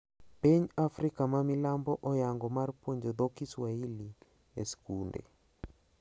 Piny mar Afrika ma milambo oyango mar puonjo dho Kiswahili e skunde.